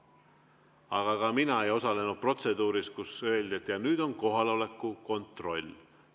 Aga ka mina ei osalenud protseduuris, mille puhul oleks öeldud, et nüüd on kohaloleku kontroll.